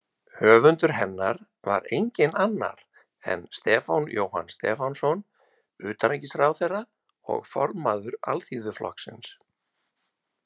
Höfundur hennar var enginn annar en Stefán Jóhann Stefánsson, utanríkisráðherra og formaður Alþýðuflokksins.